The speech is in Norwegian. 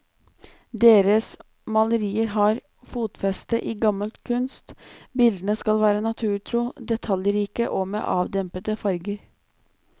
Deres malerier har fotfeste i gammel kunst, bildene skal være naturtro, detaljrike, og med avdempede farger.